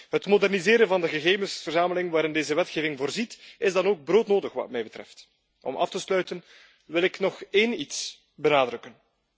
Het moderniseren van de gegevensverzameling waarin deze wetgeving voorziet, is dan ook broodnodig wat mij betreft. Om af te sluiten wil ik nog één ding benadrukken.